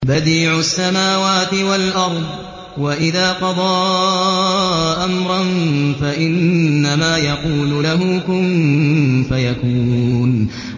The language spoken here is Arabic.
بَدِيعُ السَّمَاوَاتِ وَالْأَرْضِ ۖ وَإِذَا قَضَىٰ أَمْرًا فَإِنَّمَا يَقُولُ لَهُ كُن فَيَكُونُ